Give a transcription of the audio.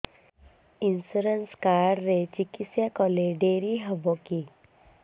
insurance card ରେ ଚିକିତ୍ସା କଲେ ଡେରି ହବକି